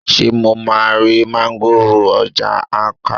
sé mo ma ri máńgòrò ń ọjà Awka?